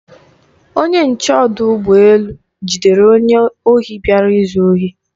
Onye nche ọdụ ụgbọ elu jidere onye ohi bịara izu ohi.